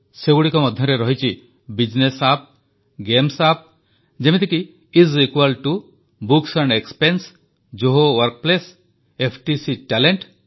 ସେଗୁଡ଼ିକ ମଧ୍ୟରେ ରହିଛି ବିଜନେସ୍ ଆପ୍ ଗେମ୍ସ ଆପ୍ ଯେମିତିକି ଆଇଏସ୍ ଇକ୍ୱାଲ ଟିଓ books expense Zoho workplace FTC talent